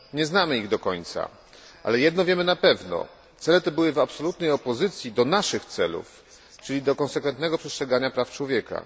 Nie znamy ich do końca, ale jedno wiemy na pewno cele te były w absolutnej opozycji do naszych celów, czyli do konsekwentnego przestrzegania praw człowieka.